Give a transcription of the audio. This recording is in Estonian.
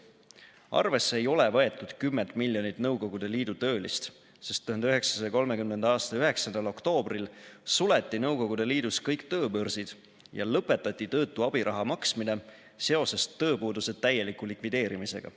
Arvesse ei ole võetud 10 miljonit NSV Liidu töölist, sest 1930. aasta 9. oktoobril suleti NSV Liidus kõik tööbörsid ja lõpetati töötu abiraha maksmine seoses tööpuuduse täieliku likvideerimisega.